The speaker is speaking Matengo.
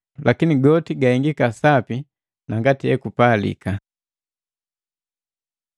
Lakini goti gahengeka sapi na ngati ekupalika.